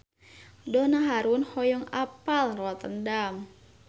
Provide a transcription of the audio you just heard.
Donna Harun hoyong apal Rotterdam